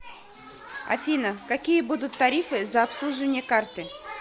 афина какие будут тарифы за обслуживание карты